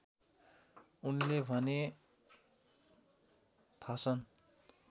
उनले भने थासन